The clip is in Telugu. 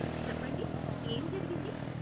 చెప్పండి, ఏం జరిగింది?